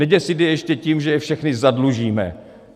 Neděsit je ještě tím, že je všechny zadlužíme.